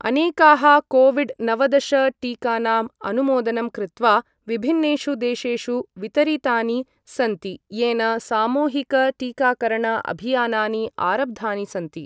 अनेकाः कोविड नवदश टीकानां अनुमोदनं कृत्वा विभिन्नेषु देशेषु वितरितानि सन्ति, येन सामूहिक टीकाकरण अभियानानि आरब्धानि सन्ति ।